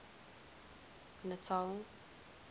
natal